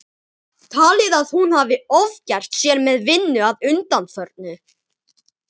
Talið að hún hafi ofgert sér með vinnu að undanförnu.